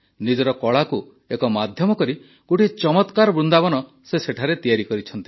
ନିଜର କଳାକୁ ଏକ ମାଧ୍ୟମ କରି ଗୋଟିଏ ଚମତ୍କାର ବୃନ୍ଦାବନ ସେ ସେଠାରେ ତିଆରି କରିଛନ୍ତି